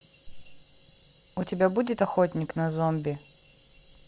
у тебя будет охотник на зомби